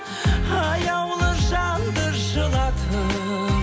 аяулы жанды жылатып